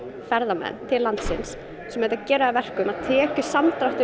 ferðamenn sem geri það að verkum að tekjusamdráttur